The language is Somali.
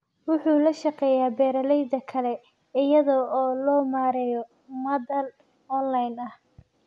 Wuxuu la shaqeeyaa beeralayda kale iyada oo loo marayo madal online ah.